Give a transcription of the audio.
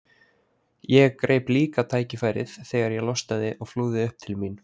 Ég greip líka tækifærið þegar ég losnaði og flúði upp til mín.